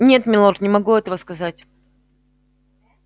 нет милорд не могу этого сказать